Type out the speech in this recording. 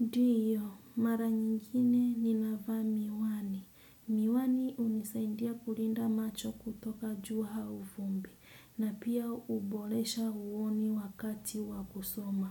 Ndiyo, mara nyingine ninavaa miwani. Miwani unisaindia kulinda macho kutoka jua hau fumbi na pia ubolesha uoni wakati wa kusoma.